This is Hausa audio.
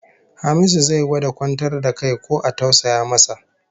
Hamisu zai gwada kwantar da kai ko a tausaya masa